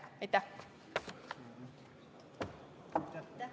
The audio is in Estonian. Aitäh!